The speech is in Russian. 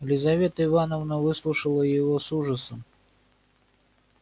лизавета ивановна выслушала его с ужасом